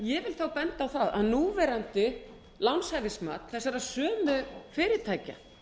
ég vil benda á það að núverandi lánshæfismat þessara sömu fyrirtækja